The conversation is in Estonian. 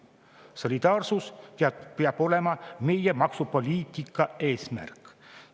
Solidaarsus peab olema meie maksupoliitika eesmärk.